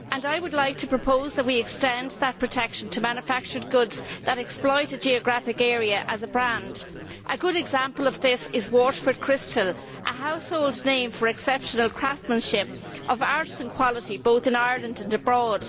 I would like to propose that we extend that protection to manufactured goods that exploit a geographic area as a brand. A good example of this is Waterford Crystal, which is a household name for its exceptional craftsmanship, art and quality, both in Ireland and abroad.